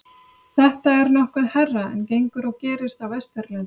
þetta er nokkuð hærra en gengur og gerist á vesturlöndum